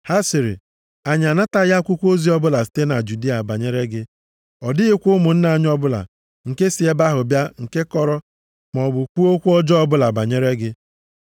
Ha sịrị, “Anyị anataghị akwụkwọ ozi ọbụla site na Judịa banyere gị. Ọ dịghịkwa ụmụnna anyị ọbụla nke si ebe ahụ bịa nke kọrọ maọbụ kwuo okwu ọjọọ ọbụla banyere gị.